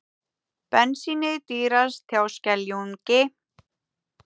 Bensínið dýrast hjá Skeljungi